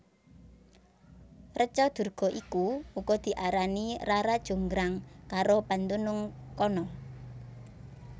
Reca Durga iku uga diarani Rara Jonggrang karo pandunung kana